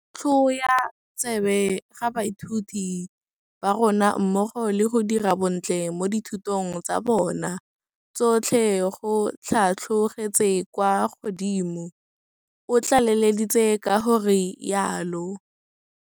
Go tlhwoya tsebe ga baithuti ba rona mmogo le go dira bontle mo dithutong tsa bona tsotlhe go tlhatlhogetse kwa godimo, o tlaleleditse ka go rialo.